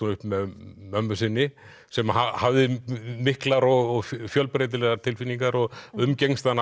upp með mömmu sinni sem hafði miklar og fjölbreytilegar tilfinningar og umgekkst hana